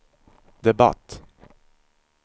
debatt